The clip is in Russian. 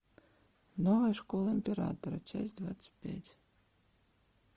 новая школа императора часть двадцать пять